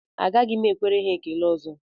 Agaghị m ekwere ha ekele ọzọ